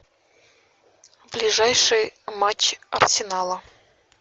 ближайший матч арсенала